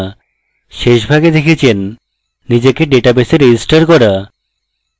শেষ ভাগে দেখেছেন নিজেকে ডেটাবেসে registered করেছি